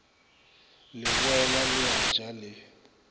leboela le a ja le